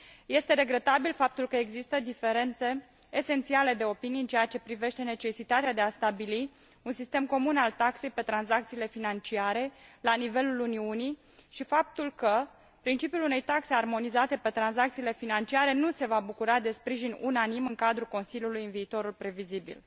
Este regretabil faptul că există diferențe esențiale de opinii în ceea ce privește necesitatea de a stabili un sistem comun al taxei pe tranzacțiile financiare la nivelul Uniunii și faptul că principiul unei taxe armonizate pe tranzacțiile financiare nu se va bucura de sprijin unanim în cadrul Consiliului în viitorul previzibil.